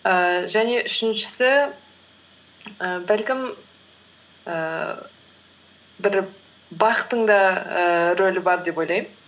ііі және үшіншісі і бәлкім ііі бір бақтың да ііі рөлі бар деп ойлаймын